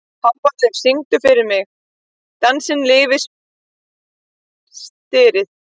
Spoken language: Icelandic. Hávarður, syngdu fyrir mig „Dansinn lifir stritið“.